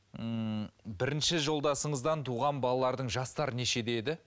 ммм бірінші жолдасыңыздан туған балалардың жастары нешеде еді